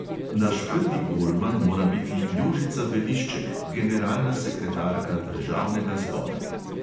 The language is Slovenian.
Naš prvi golman mora biti jožica velišček, generalna sekretarka državnega zbora.